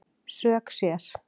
Sök sér